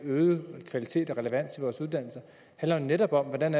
øget kvalitet og relevans i vores uddannelser handler jo netop om hvordan